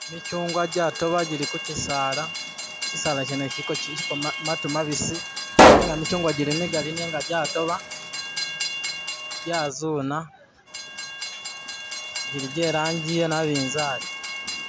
Mikyugwa gyatoba gyili kukyisala, kyisala kyeene kyiliko mantu mabisi nega mikyugwa kyili migali nega kyatoba nkyazuna kyili kyeragyi yenabizari